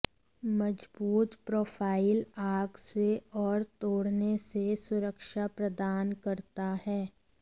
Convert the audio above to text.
मजबूत प्रोफ़ाइल आग से और तोड़ने से सुरक्षा प्रदान करता है